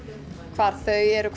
hvar þau eru